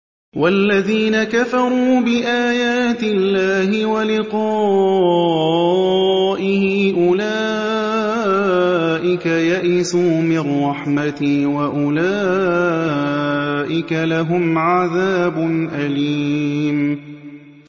وَالَّذِينَ كَفَرُوا بِآيَاتِ اللَّهِ وَلِقَائِهِ أُولَٰئِكَ يَئِسُوا مِن رَّحْمَتِي وَأُولَٰئِكَ لَهُمْ عَذَابٌ أَلِيمٌ